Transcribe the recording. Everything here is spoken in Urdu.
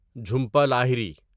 جھومپا لاہری